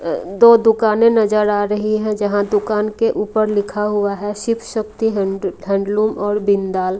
अ दो दुकाने नजर आ रही है जहां दुकान के ऊपर लिखा हुआ है शिव शक्ति हैंड हैंडलूम और बिंदाल--